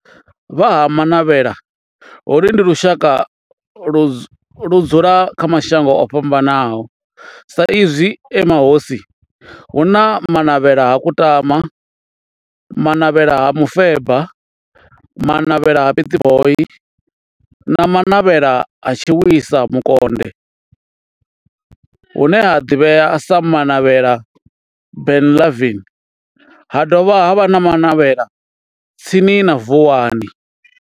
Vha Ha-Manavhela, holu ndi lushaka ludzula kha mashango ofhambanaho sa izwi e mahosi hu na Manavhela ha Kutama, Manavhela ha Mufeba, Manavhela ha Pietboi na Manavhela ha Tshiwisa Mukonde hune ha ḓivhea sa Manavhela Benlavin ha dovha havha na Manavhela tsini na Vuwani.